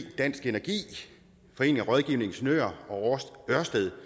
dansk energi foreningen af rådgivende ingeniører og ørsted